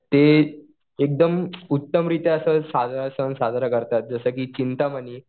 ते एकदम उत्तमरीत्या असं साजरा सण साजरा करतात. जसं कि चिंतामणी.